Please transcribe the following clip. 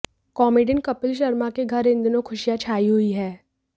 comedian Kapil Sharma के घर इन दिनों खुशियां छाई हुईं हैं